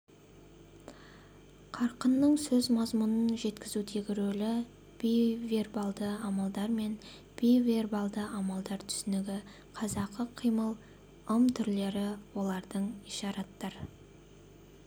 қарқынның сөз мазмұнын жеткізудегі рөлі бейвербалды амалдар мен бейвербалды амалдар түсінігі қазақы қимыл ымтүрлері олардың ишараттар